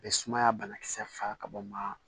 Bɛ sumaya banakisɛ faga ka bɔ maa